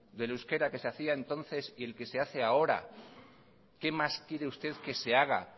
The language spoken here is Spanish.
del euskera que se hacía entonces y el que se hace ahora qué más quiere usted que se haga